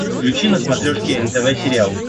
включи на смотрешке нтв сериал